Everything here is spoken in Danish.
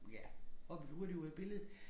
Ja hoppede hurtigt ud af billedet